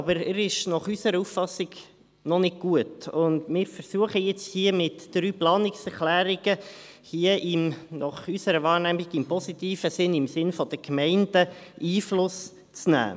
Aber er ist nach unserer Auffassung noch nicht gut, und wir versuchen nun hier mit drei Planungserklärungen – nach unserer Wahrnehmung – im positiven Sinne, im Sinne der Gemeinden Einfluss zu nehmen.